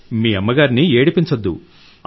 మీ అమ్మను ఏడిపించవద్దు